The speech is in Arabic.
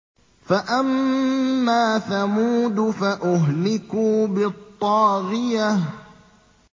فَأَمَّا ثَمُودُ فَأُهْلِكُوا بِالطَّاغِيَةِ